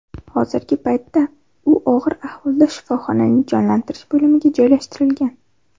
Hozirgi paytda u og‘ir ahvolda shifoxonaning jonlantirish bo‘limiga joylashtirilgan.